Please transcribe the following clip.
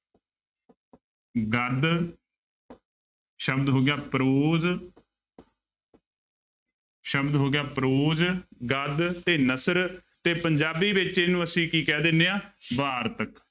ਗਦ ਸ਼ਬਦ ਹੋ ਗਿਆ prose ਸ਼ਬਦ ਹੋ ਗਿਆ prose ਗਦ ਤੇ ਨਸਰ ਤੇ ਪੰਜਾਬੀ ਵਿੱਚ ਇਹਨੂੰ ਅਸੀ ਕੀ ਕਹਿ ਦਿੰਦੇ ਹਾਂ ਵਾਰਤਕ।